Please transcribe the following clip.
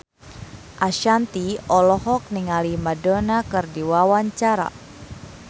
Ashanti olohok ningali Madonna keur diwawancara